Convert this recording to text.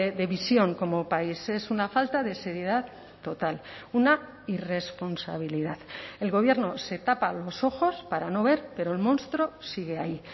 de visión como país es una falta de seriedad total una irresponsabilidad el gobierno se tapa los ojos para no ver pero el monstruo sigue ahí